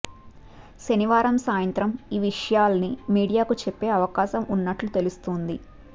శనివారం సాయంత్రం ఈ విషయాల్ని మీడియాకు చెప్పే అవకాశం ఉన్నట్లు తెలుస్తోంది